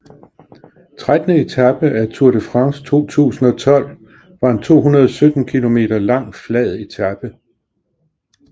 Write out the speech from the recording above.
Trettende etape af Tour de France 2012 var en 217 km lang flad etape